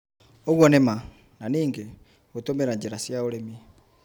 ũguo nĩ ma. Na ningĩ, gũtũmĩra njĩra cia ũrĩmi